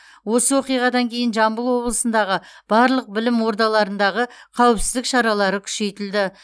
осы оқиғадан кейін жамбыл облысындағы барлық білім ордаларындағы қауіпсіздік шаралары күшейтілді